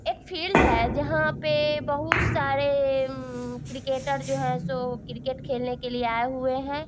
एक फील्ड है जहाँ पे बहुत सारे उम्म क्रिकेटर जो हैं सो क्रिकेट खेलने के लिए आये हुए हैं।